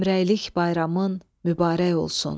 Həmrəylik bayramın mübarək olsun.